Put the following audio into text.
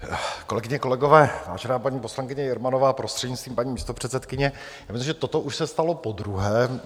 Kolegyně, kolegové, vážená paní poslankyně Jermanová, prostřednictvím paní místopředsedkyně, já myslím, že toto už se stalo podruhé.